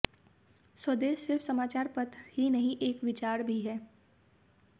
स्वदेश सिर्फ समाचार पत्र ही नहीं एक विचार भी है